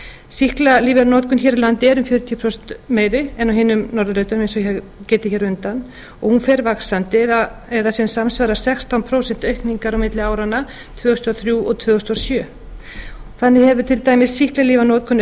sýklalyfjanotkun hér á landi er um fjörutíu prósent meiri en á hinum norðurlöndunum eins og ég hef getið hér á undan og hún fer vaxandi eða sem samsvarar sextán prósent aukningar á milli áranna tvö þúsund og þrjú og tvö þúsund og sjö þannig hefur til dæmis sýklalyfjanotkun